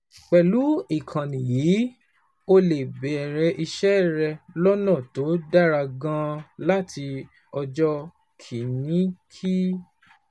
Pẹ̀lú ìkànnì yìí, o lè bẹ̀rẹ̀ iṣẹ́ rẹ lọ́nà tó dára gan-an láti ọjọ́ kìíní kí